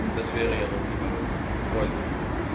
Das wäre ja wirklich mal etwas Erfreuliches.